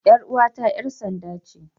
Yar uwata 'yar sanda ce.